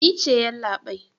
Ni ce yallabai.